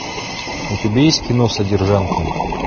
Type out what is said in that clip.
у тебя есть кино содержанки